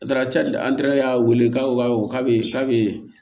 Daraka y'a wele k'a fɔ ko k'a bɛ k'a bɛ